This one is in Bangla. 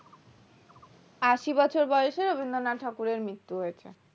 আশি বছর বয়সে রবীন্দ্রনাথ ঠাকুরের মৃত্যু হয়েছে